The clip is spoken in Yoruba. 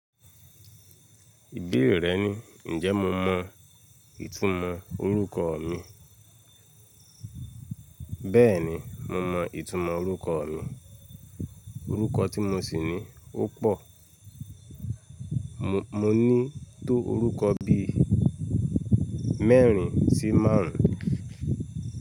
Ìbéè rẹ ni, ǹjẹ́ mo mọ ìtumọ̀ orúkọ mi? Bẹ́ẹ̀ni, mo mọ ìtumọ̀ orúkọ mi. Orúkọ tí mo sì ni ó pọ̀. Mo ní tó orúkọ bí i mẹ́rin sí márùn ún.